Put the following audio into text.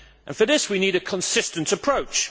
For this we need a consistent approach.